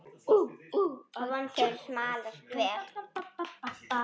Vonandi hefur smalast vel.